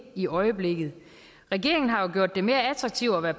i øjeblikket regeringen har jo gjort det mere attraktivt at være